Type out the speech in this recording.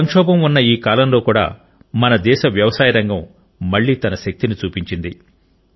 సంక్షోభం ఉన్న ఈ కాలంలో కూడా మన దేశ వ్యవసాయ రంగం మళ్లీ తన శక్తిని చూపించింది